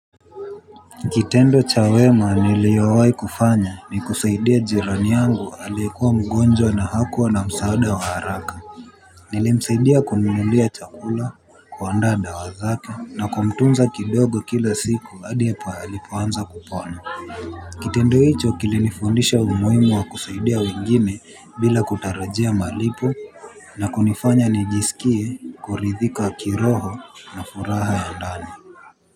Kitendo cha wema niliowahi kufanya ni kusaidia jirani yangu alikuwa mgonjwa na hakuwa na msaada wa haraka. Nilimsaidia kumnunulia chakula kuandaa dawa zake na kumtunza kidogo kila siku hadi alipoanza kupona. Kitendo hicho kilinifundisha umuhimu wa kusaidia wengine bila kutarajia malipo na kunifanya nijisikie kuridhika kiroho na furaha ya ndani.